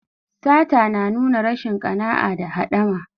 Sata na nuna rashin ƙana'a da haɗama.